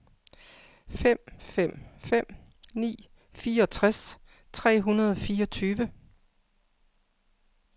fem fem fem ni fireogtres tre hundrede og fireogtyve